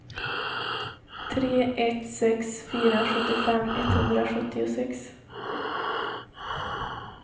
tre ett sex fyra sjuttiofem etthundrasjuttiosex